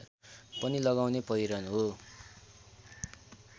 पनि लगाउने पहिरन हो